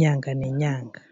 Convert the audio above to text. nyanga nenyanga.